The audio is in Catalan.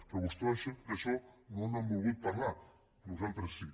però vostès d’això no n’han volgut parlar nosaltres sí